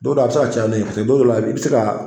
Don dɔ a bɛ se caya n'o ye don dɔ la i bɛ se ka